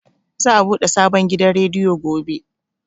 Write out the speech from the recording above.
Za a buɗe sabon gidan rediyo gobe.